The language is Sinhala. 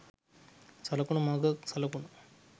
සලකනු මග සලකුණු